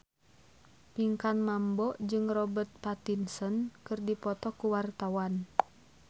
Pinkan Mambo jeung Robert Pattinson keur dipoto ku wartawan